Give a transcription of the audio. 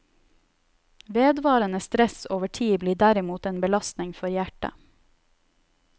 Vedvarende stress over tid blir derimot en belastning for hjertet.